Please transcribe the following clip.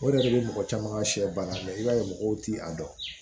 O yɛrɛ de bɛ mɔgɔ caman ka sɛ bananbila i b'a ye mɔgɔw ti a dɔn